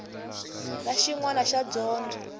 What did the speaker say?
na xin wana xa dyondzo